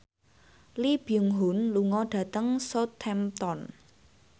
Lee Byung Hun lunga dhateng Southampton